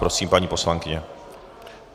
Prosím, paní poslankyně.